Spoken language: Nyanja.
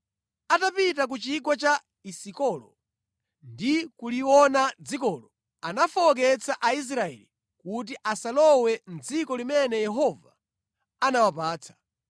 Atapita ku chigwa cha Esikolo, ndi kuliona dzikolo, anafowoketsa Aisraeli kuti asalowe mʼdziko limene Yehova anawapatsa.